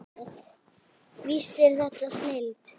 Víst er þetta snilld.